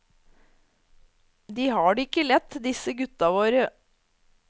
De har det ikke lett, disse gutta våre.